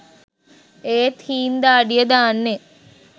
ඒත් හීං දාඩිය දාන්නෙ